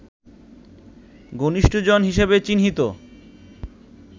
ঘনিষ্ঠজন হিসেবে চিহ্নিত